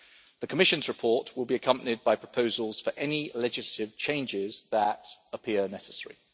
The Commission's report will be accompanied by proposals for any legislative changes that appear necessary.